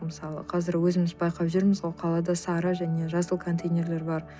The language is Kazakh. мысалы қазір өзіміз байқап жүрміз қалада сары және жасыл контейнерлер бар